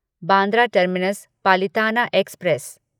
Bandra terminus Palitana express